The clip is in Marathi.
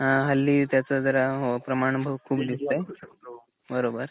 अ हल्ली त्याच जरा हो प्रमाण खूप दिसतंय. हो बरोबर.